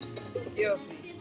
Gefa frí.